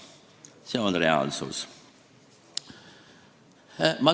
See on reaalsus.